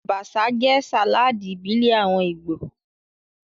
Abacha jẹ́ sàláàdì ìbílẹ̀ àwọn Ìgbò